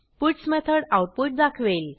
puts method output दाखवेल